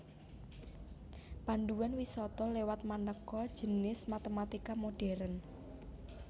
Panduan wisata liwat manéka jinis matématika modhèrn